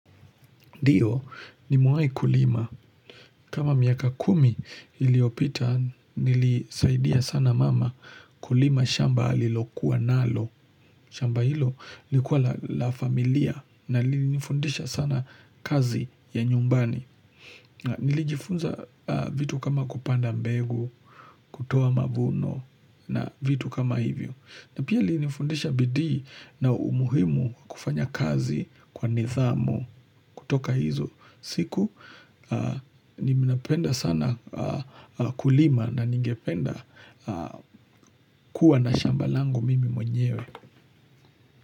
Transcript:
Ndio nimewai kulima. Kama miaka kumi iliyopita nilisaidia sana mama kulima shamba alilokuwa nalo. Shamba hilo lilikuwa la familia na lilinifundisha sana kazi ya nyumbani. Nilijifunza vitu kama kupanda mbegu, kutoa mavuno na vitu kama hivyo. Na pia lilinifundisha bidii na umuhimu wa kufanya kazi kwa nidhamu kutoka hizo. Siku ninapenda sana kulima na ningependa kuwa na shamba langu mimi mwenyewe.